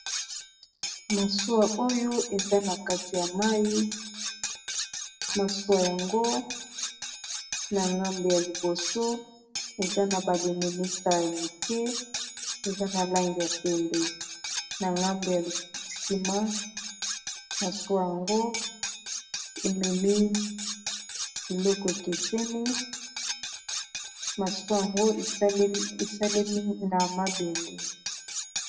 Masuwa oyo eza na kati ya mai masuwa yango na ngambu ya liboso eza na baluminista ya moke eza na langi ya pembe na ngambu ya nsima masuwa yango ememi liloko ekeseni masuwa yango esalemi na mabende.